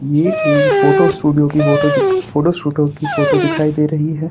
ये एक photo studio की फोटो दिख फोटो स्टूडियो की फोटो दिखाई दे रही है।